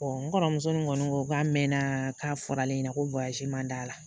n kɔrɔmuso nin kɔni ko k'a mɛnna k'a fɔra ale ɲɛna ko man d'a la